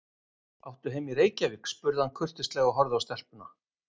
Áttu heima í Reykjavík? spurði hann kurteislega og horfði á stelpuna.